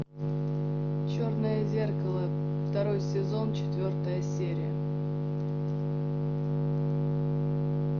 черное зеркало второй сезон четвертая серия